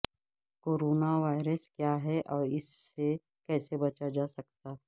corona virus کیا ہے اوراس سے کیسے بچاجاسکتا ہے